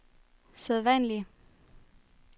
sædvanlige